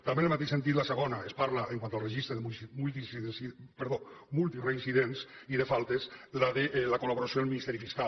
també en el mateix sentit la segona es parla quant al registre de multireincidents i de faltes de la collaboració amb el ministeri fiscal